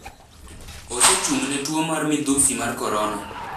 osechung'ne tuo mar midhusi mar Korona,